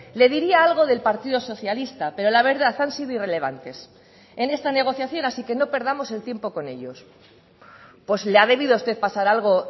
le diría algo del partido socialista pero la verdad han sido irrelevantes en esta negociación así que no perdamos el tiempo con ellos pues le ha debido usted pasar algo